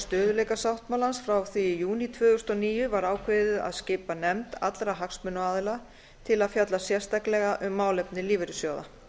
stöðugleikasáttmálans frá því í júní tvö þúsund og níu var ákveðið að skipa nefnd allra hagsmunaaðila til að fjalla sérstaklega um málefni lífeyrissjóða